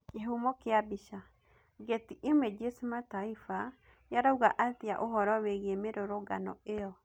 Kihumo kia bica, Getty Images Mataifa yarauga atia ũhuro wigie mirũrũngano iyo?